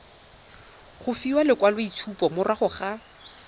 go fiwa lekwaloitshupo morago ga